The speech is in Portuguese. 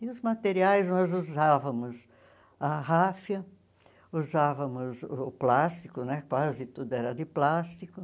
E os materiais nós usávamos a ráfia, usávamos o plástico né, quase tudo era de plástico.